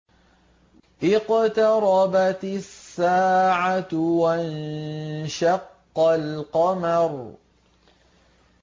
اقْتَرَبَتِ السَّاعَةُ وَانشَقَّ الْقَمَرُ